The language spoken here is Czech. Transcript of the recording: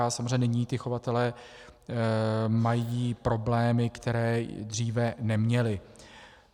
A samozřejmě nyní ti chovatelé mají problémy, které dříve neměli.